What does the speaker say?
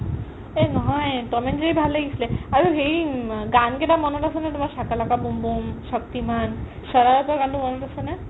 অ নহয় Tom and Jerry ভাল লাগিছিলে আৰু হেৰি গান কেইটা মনত আছে নে তুমাৰ শকা লাকা বুম বুম, শক্তিমান, শৰৰাতৰ গানটো মনত আছে নে?